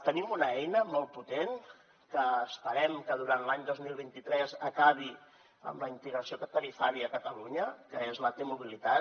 tenim una eina molt potent que esperem que durant l’any dos mil vint tres acabi amb la integració tarifària a catalunya que és la t mobilitat